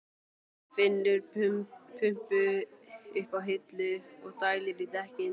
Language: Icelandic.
Finnur pumpu uppi á hillu og dælir í dekkin.